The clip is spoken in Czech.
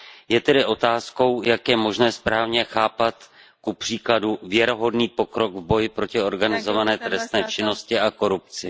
Je tedy otázkou, jak je možné správně chápat kupříkladu věrohodný pokrok v boji proti organizované trestné činnosti a korupci.